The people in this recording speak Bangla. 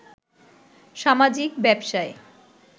সামাজিক ব্যবসায়